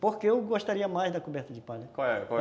Porque eu gostaria mais da coberta de palha, qual é? qual é?